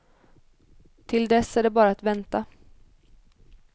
Till dess är det bara att vänta.